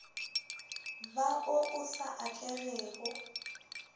ba wo o sa atlegego